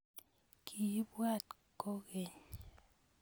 Kiibwat kogeny